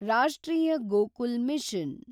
ರಾಷ್ಟ್ರೀಯ ಗೋಕುಲ್ ಮಿಷನ್